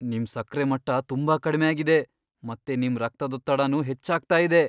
ನಿಮ್ ಸಕ್ರೆ ಮಟ್ಟ ತುಂಬಾ ಕಡ್ಮೆ ಆಗಿದೆ, ಮತ್ತೆ ನಿಮ್ ರಕ್ತದೊತ್ತಡನೂ ಹೆಚ್ಚಾಗ್ತಾ ಇದೆ.